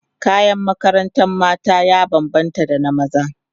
kayan makarantar mata ya banbanta da na maza